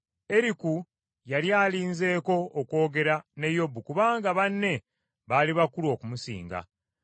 Eriku yali alinzeeko okwogera ne Yobu kubanga banne baali bakulu okumusinga.